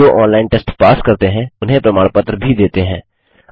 जो online test pass करते हैं उन्हें प्रमाण पत्र भी देते हैं